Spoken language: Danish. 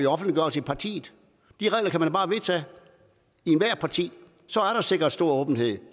offentliggørelse i partiet de regler kan man da bare vedtage i ethvert parti så er der sikret stor åbenhed